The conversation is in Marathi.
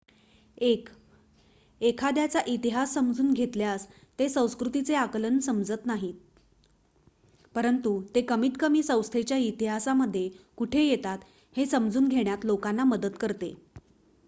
1 एखाद्याचा इतिहास समजून घेतल्यास ते संस्कृतीचे आकलन समजत नाहीत परंतु ते कमीतकमी संस्थेच्या इतिहासामध्ये कुठे येतात हे समजून घेण्यात लोकांना मदत करते